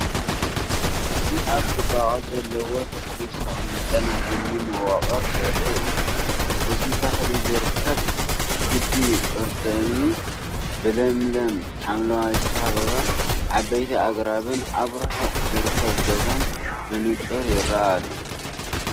እዚ ኣብ ጽባቐ ዘለዎ ተክሊ ዝተቐመጠ ናይ እምኒ መዋቕር ዘርኢ እዩ። እዚ ተክሊ ዝርከብ ክቢ ቅርጺ እምኒ፡ ብለምለም ሓምላይ ዝተኸበበ። ዓበይቲ ኣግራብን ኣብ ርሑቕ ዝርከብ ገዛን ብንጹር ይርአ ኣሎ።